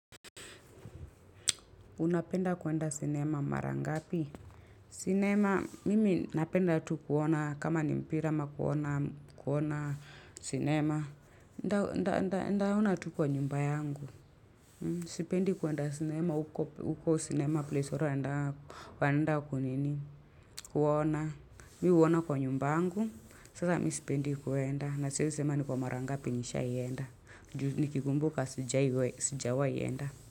Unapenda kuenda cinema mara ngapi? Cinema, mimi napenda tu kuona kama ni mpira ama kuona cinema. Ndaona tu kwa nyumba yangu. Sipendi kwenda sinema, uko, uko sinema, place, watu wanaenda kunini, kuona. Mimi huona kwa nyumba yangu, sasa mimi sipendi kwenda. Na siwezi kusema ni kwa maranga nishawahi kwenda Ju, nikikumbuka sijawahi, sijawahi enda.